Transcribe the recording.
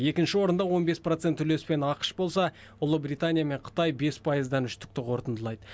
екінші орында он бес процент үлеспен ақш болса ұлибритания мен қытай бес пайыздан үштікті қортындылайды